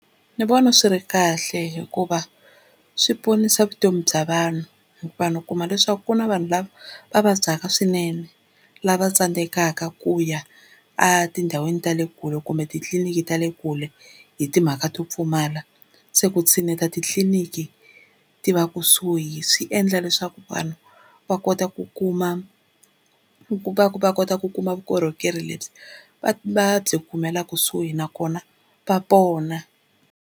Ndzi vona swi ri kahle hikuva swi ponisa vutomi bya vanhu. Vanhu u kuma leswaku ku na vanhu lava va vabyaka swinene lava tsandzekaka ku ya etindhawini ta le kule kumbe titliliniki ta le kule hi timhaka to pfumala. Se ku tshineta titliliniki ti va kusuhi swi endla leswaku vanhu va kota ku kuma va kota ku kuma vukorhokeri lebyi va byi kumela kusuhi nakona va pona.